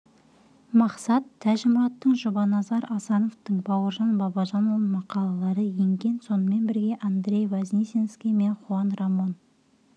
мақсат тәж-мұраттың жұбаназар асановтың бауыржан бабажанұлының мақалалары енген сонымен бірге андрей вознесенский мен хуан рамон